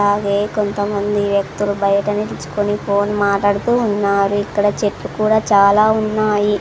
అవే కొంతమంది వ్యక్తులు బయట నిల్చుకొని ఫోన్ మాట్లాడుతూ ఉన్నారు ఇక్కడ చెట్లు కూడా చాలా ఉన్నాయి.